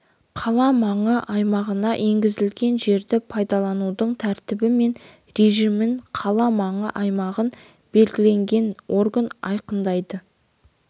қала маңы аймағына енгізілген жерді пайдаланудың тәртібі мен режимін қала маңы аймағын белгілеген орган айқындайды